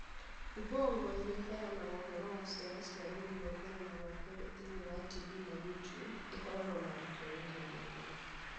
Ubongo, ĩrĩa ĩheanaga ũhoro wa ciana cia rũũru rwa mbere na rwa kerĩ thĩinĩ wa TV na YouTube, ĩkoragwo na arutwo mirioni igĩrĩ.